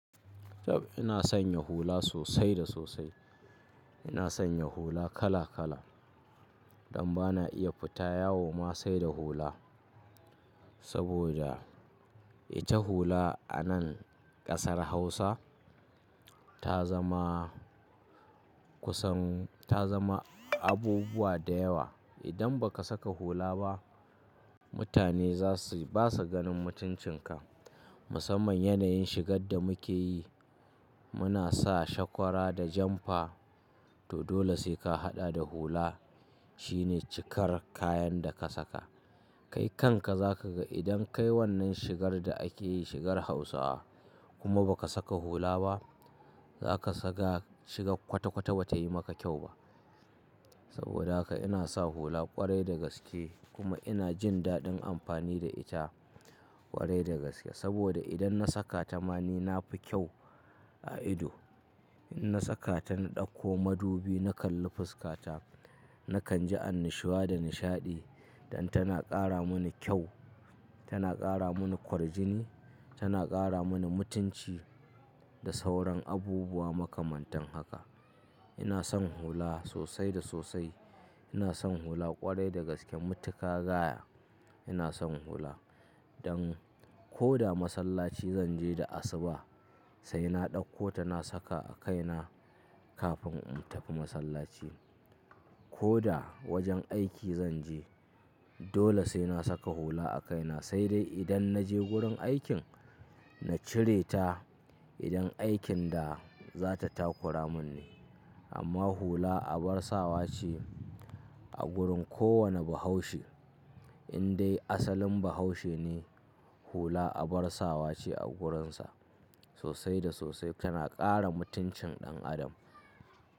Dab ina sanya hula sosai da sosai. Ina sanya hula kala kala, dan ba na iya fita yawo ma sai da hula. Saboda ita hula a nan ƙasar Hausa ta zama kusan ta zama abubuwa da yawa. Idan ba ka saka hula ba, mutane za su basu ganin mutuncin ka. Musamman yanayin shigar da muke yi, muna sa shakwara da janfa to dole sai ka haɗa da hula. Shi ne cikar kayan da ka saka. Kai kanka za ka ga idan ka yi wannan shigar da ake yi shigar Hausawa kuma ba ka saka hula ba, za ka saga shigar kwata kwata ba ta yi maka kyau ba. Saboda haka ina sa hula kwarai da gaske kuma ina jin daɗin amfani da ita kwarai da gaske. Saboda idan na saka ta ma ni na fi kyau a ido. In na saka ta na ɗauko madubi na kalli fuskata, na kan ji annashuwa da nishaɗi don tana ƙara mani kyau, tana ƙara mani kwarjini, tana ƙara mani mutunci da sauran abubuwa makamantan haka. Ina son hula sosai da sosai. Ina son hula kwarai da gaske. Mutuƙa gaya ina son hula. Don ko da masallaci zan je da asuba sai na ɗauko ta na saka a kaina kafin in tafi masallaci. Ko da wajen aiki zan je dole sai na saka hula a kaina. Sai dai idan na je gurin aikin na cire ta idan aikin da za ta takura mun ne. Amma hula abar sawa ce a gurin kowane bahaushe. In dai asalin bahaushe ne hula abar sawa ce a gurinsa sosai da sosai. Tana ƙara mutuncin ɗan adam.